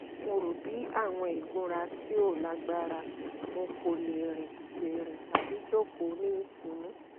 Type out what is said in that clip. mo ro bi awọn igunra ti o lagbara mo ko le rin le rin tabi joko ni itunu